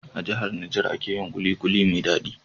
A jahar Niger ake yin kulikuli mai dadi